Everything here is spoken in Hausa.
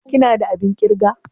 ka/ ki na da abin kirga?